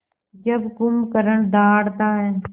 जब कुंभकर्ण दहाड़ता है